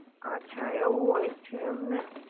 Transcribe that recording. અછા, એવું હોય છે એમને?